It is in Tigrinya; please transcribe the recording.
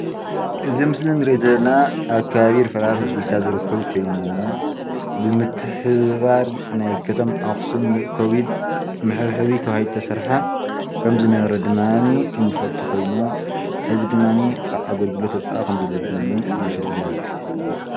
እዚ ኣብ ምስሊ ንሪኦ ዘለና ኣብ ከባቢ ሪፈራል ሆስፒታል ዝርከብ ኮይኑ ብምትሕብባር ናይ ከተማ ኣክሱም ኮቢድ መሐብሐቢ ተባሂሉ ተሰርሐ ከምዝነበረ ድማኒ እንፈልጦ ኮይኑ ሕዚ ዲምኒ ካብ ኣገልግሎት ወፃኢ ከም ዘሎ ይፍለጥ።